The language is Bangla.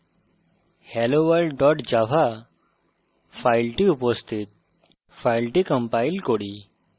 আমরা দেখি যে demo folder helloworld java file উপস্থিত